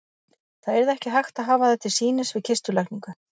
Það yrði ekki hægt að hafa þær til sýnis við kistulagningu.